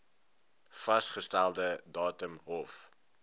vasgestelde datum hof